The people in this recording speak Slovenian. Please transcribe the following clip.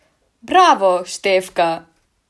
Bravo, Štefka!